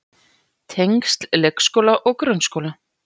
Tengsl leikskóla og grunnskóla.